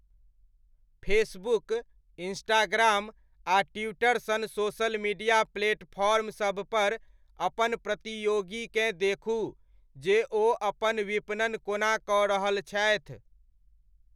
Facebook, Instagram आ Twitter सन social media platform सबपर अपन प्रतियोगीकेँ देखू जे ओ अपन विपणन कोना कऽ रहल छथि।